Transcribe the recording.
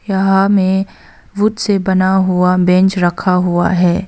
यहां में वुड से बना हुआ बेंच रखा हुआ है।